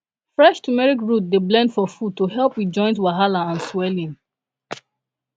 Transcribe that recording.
fresh turmeric root dey blend for food to help with joint wahala and swelling